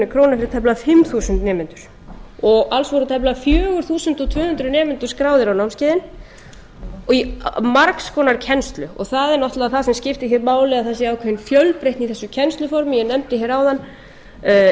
króna fyrir tæplega fimm þúsund nemendur alls voru tæplega fjögur þúsund tvö hundruð nemendur skráðir á námskeiðin og í margs konar kennslu það er náttúrlega það sem skiptir hér máli að það sé ákveðin fjölbreytni í þessu kennsluformi ég nefndi hér áðan